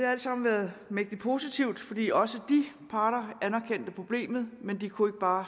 alt sammen været mægtig positivt fordi også de parter anerkendte problemet men de kunne bare